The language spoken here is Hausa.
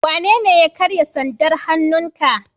Wanene ya karya sandar hannun ka?